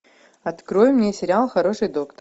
открой мне сериал хороший доктор